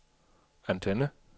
antenne